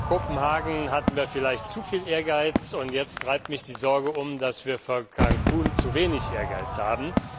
Vor Kopenhagen hatten wir vielleicht zu viel Ehrgeiz, und jetzt treibt mich die Sorge um, dass wir vor Cancún zu wenig Ehrgeiz haben.